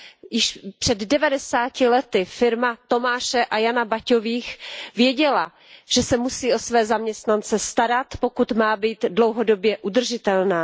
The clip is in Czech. Již před devadesáti lety firma Tomáše a Jana Baťových věděla, že se musí o své zaměstnance starat, pokud má být dlouhodobě udržitelná.